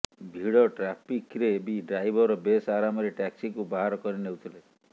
ଭିଡ ଟ୍ରାଫିକରେ ବି ଡ୍ରାଇଭର ବେସ୍ ଆରାମରେ ଟ୍ୟାକ୍ସିକୁ ବାହାର କରିନେଉଥିଲେ